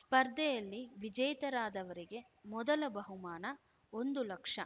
ಸ್ಪರ್ಧೆಯಲ್ಲಿ ವಿಜೇತರಾದವರಿಗೆ ಮೊದಲ ಬಹುಮಾನ ಒಂದು ಲಕ್ಷ